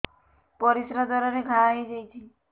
ପରିଶ୍ରା ଦ୍ୱାର ରେ ଘା ହେଇଯାଇଛି